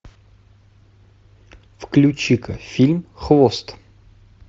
включи ка фильм хвост